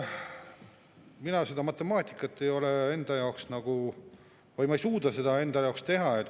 Mina seda matemaatikat ei ole enda jaoks nagu selgeks teinud, ma ei suuda seda teha.